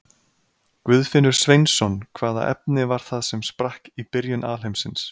Guðfinnur Sveinsson Hvaða efni var það sem sprakk í byrjun alheimsins?